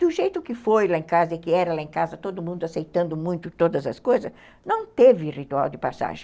Do jeito que foi lá em casa e que era lá em casa, todo mundo aceitando muito todas as coisas, não teve ritual de passagem.